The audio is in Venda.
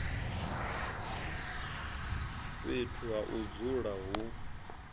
fhethu ha u dzula hu